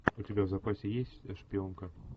у тебя в запасе есть шпионка